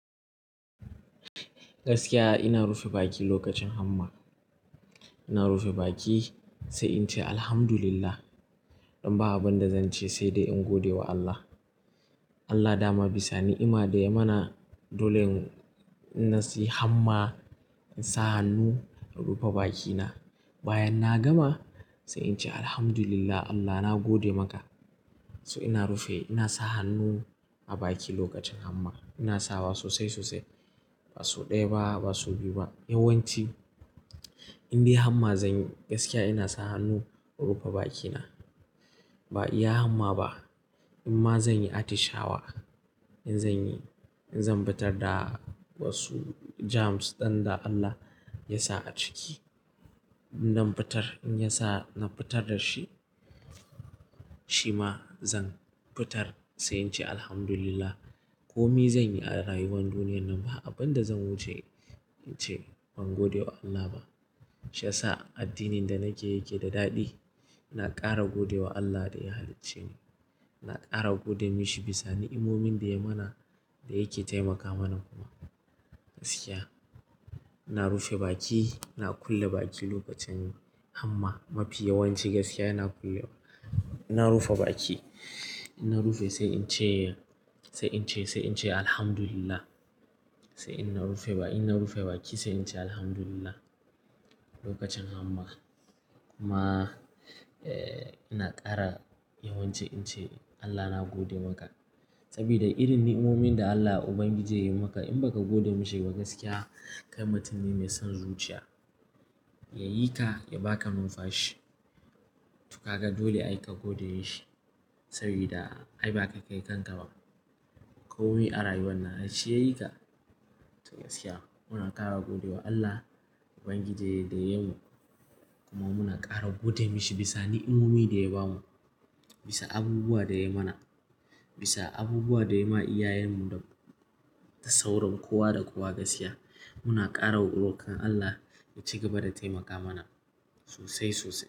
Gaskiya ina rufe baki lokacin hamma. Ina rufe baki sai in ce Alhamdulillah. Don ba abunda zan ce sai dai in godewa Allah. Allah dama bisa ni'ima da ya mana. Dole in-in na siyi hamma, in sa hannu, rufe bakina. Bayan na gama sai in ce Alhamdulillah Allah na gode maka. So ina rufe, ina sa hannu a baki lokacin hamma. Ina sawa sosai sosai. Ba sau ɗaya ba, ba sau biyu ba. Yawan ci indai hamma zanyi gaskiya ina sa hannu, rufe bakina. Ba iya hamma ba, inma zanyi atishawa. In zanyi, in zan fitar da wasu germs dan da Allah yasa a ciki. Inna fitar in yasa na fitar dashi, shima zan fitar sai in ce Alhamdulillah. Komi zanyi a rayuwar duniyyar nan ba abinda zan wuce in ce ban gode wa Allah ba. Sha sa addinin da nake yake da daɗi. Na ƙara godewa Allah da ya halicce ni. Na ƙara godemishi bisa ni'imomin da ya mana, da yake taimaka mana kuma. Gaskiya ina rufe baki, ina kulle baki lokacin hamma. Mafi yawan ci gaskiya ina kulle, ina rufa baki. Ina rufe sai in ce, sai in ce, sai in ce Alhamdulillah. Sai inna rufe ba inna rufe baki sai in ce Alhamdulillah lokacin hamma. Kuma, eh, ina ƙara yawan ci ince Allah na gode maka. Sabida irin ni'imomin da Allah Ubangiji yayi maka in baka gode mishi ba gaskiya kai mutum ne mai son zuciya. Yayi ka, ya baka nunfashi to ka ga dole ai ka gode yashi. Sabida ai ba kai kayi kanka ba. Komi a rayuwan nan shi yayi ka. To gaskiya muna ƙara godewa Allah Ubangiji da yayi mu. Kuma muna ƙara godemishi bisa ni'imomi da ya bamu. Bisa abubuwa da ya mana. Bisa abubuwa da ya ma iyayenmu da, da sauran kowa da kowa gaskiya. Muna ƙara roƙon Allah ya ci gaba da taimaka mana sosai sosai.